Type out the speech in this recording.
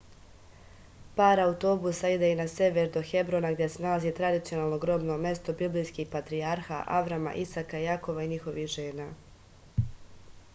par autobusa ide i na sever do hebrona gde se nalazi tradicionalno grobno mesto biblijskih patrijarha avrama isaka jakova i njihovih žena